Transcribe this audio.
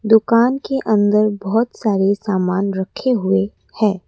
दुकान के अंदर बहोत सारे सामान रखे हुए है।